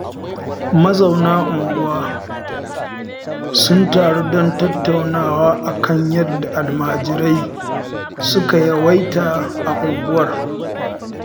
Mazauna unguwa sun taru don tattaunawa a kan yadda almajirai suka yawaita a unguwar